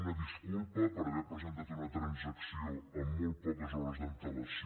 una disculpa per haver presentat una transacció amb molt poques hores d’antelació